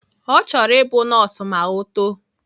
Ọ chọrọ ịbụ nọọsụ ma o too